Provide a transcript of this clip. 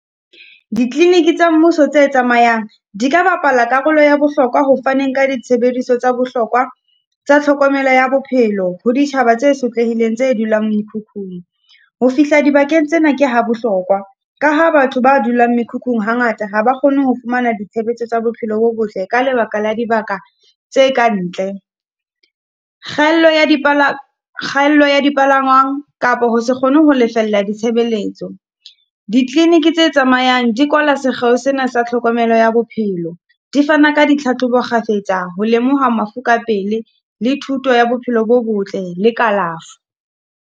Dikliniki tsa mmuso tse tsamayang, di ka bapala karolo ya bohlokwa ho faneng ka ditshebeletso tsa bohlokwa tsa tlhokomelo ya bophelo ho ditjhaba tse sotlehileng, tse dulang mekhukhung. Ho fihla dibakeng tsena, ke ha bohlokwa, ka ha batho ba dulang mekhukhung hangata ha ba kgone ho fumana ditshebetso tsa bophelo bo botle ka lebaka la dibaka tse ka ntle. Kgaello ya di , kgaello ya dipalangwang kapo ho se kgone ho lefella ya ditshebeletso. Dikliniki tse tsamayang di kwala sekgeo sena sa tlhokomelo ya bophelo, di fana ka ditlhatlhobo kgafetsa ho lemoha mafu ka pele le thuto ya bophelo bo botle le kalafo.